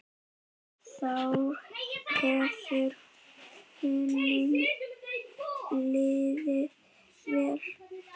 Þá hefur honum liðið vel.